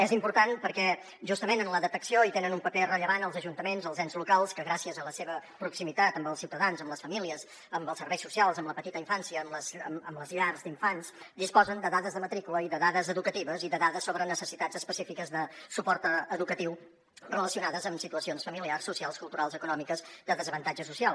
és important perquè justament en la detecció tenen un paper rellevant els ajuntaments els ens locals que gràcies a la seva proximitat amb els ciutadans amb les famílies amb els serveis socials amb la petita infància amb les llars d’infants disposen de dades de matrícula i de dades educatives i de dades sobre necessitats específiques de suport educatiu relacionades amb situacions familiars socials culturals econòmiques de desavantatge social